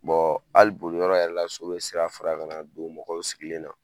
hali boliyɔrɔ yɛrɛ la so bɛ sira fara ka na don mɔgɔw sigilen na.